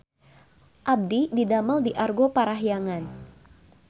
Abdi didamel di Argo Parahyangan